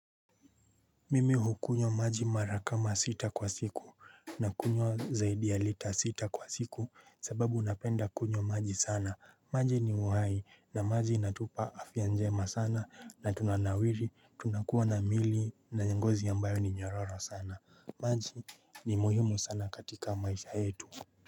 Mimi hukunywa maji mara kama sita kwa siku nakunywa zaidi ya lita sita kwa siku sababu napenda kunywa maji sana maji ni uhai na maji inatupa afya njema sana na tunanawiri tunakuwa na miili na ngozi ambayo ni nyororo sana maji ni muhimu sana katika maisha yetu.